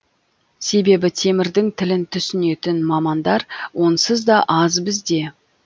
себебі темірдің тілін түсінетін мамандар онсыз да аз бізде